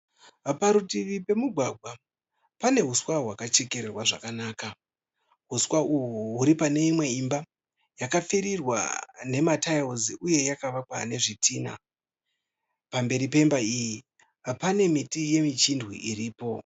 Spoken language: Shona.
Parutivi pemugwagwa pane huswa hwakachekerwa zvakanaka. Huswa uhwu uri pane imwe imba yakapfirirwa nematiles uye yakavakwa nezvidhinha. Pamberi nemba iyi pane miti yeuchindwe iripo.